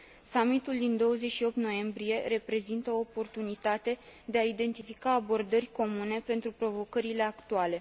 Summitul din 28 noiembrie reprezintă o oportunitate de a identifica abordări comune pentru provocările actuale.